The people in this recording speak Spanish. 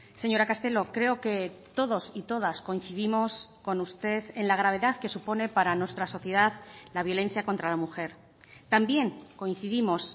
señora castelo creo que todos y todas coincidimos con usted en la gravedad que supone para nuestra sociedad la violencia contra la mujer también coincidimos